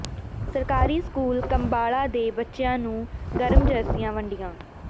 ਸਰਕਾਰੀ ਸਕੂਲ ਕੰਬਾਲਾ ਦੇ ਬੱਚਿਆਂ ਨੂੰ ਗਰਮ ਜਰਸੀਆਂ ਵੰਡੀਆਂ